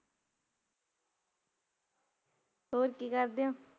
ਹੋਰ ਕਿ ਕਰਦੇ ਓ